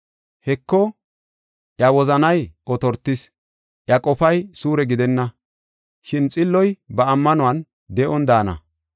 Heko, iya wozanay otortis; iya qofay suure gidenna; shin xilloy ba ammanuwan de7on daana.